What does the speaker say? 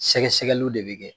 Sɛgɛsɛgɛliw de bɛ kɛ.